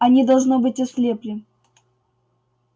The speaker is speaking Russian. они должно быть ослепли